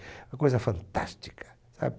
Uma coisa fantástica. Sabe